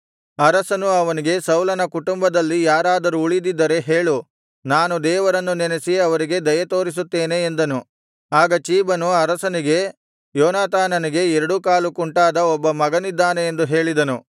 ಅರಸನು ಅವನಿಗೆ ಸೌಲನ ಕುಟುಂಬದಲ್ಲಿ ಯಾರಾದರೂ ಉಳಿದಿದ್ದರೆ ಹೇಳು ನಾನು ದೇವರನ್ನು ನೆನಸಿ ಅವರಿಗೆ ದಯೆತೋರಿಸುತ್ತೇನೆ ಎಂದನು ಆಗ ಚೀಬನು ಅರಸನಿಗೆ ಯೋನಾತಾನನಿಗೆ ಎರಡೂ ಕಾಲು ಕುಂಟಾದ ಒಬ್ಬ ಮಗನಿದ್ದಾನೆ ಎಂದು ಹೇಳಿದನು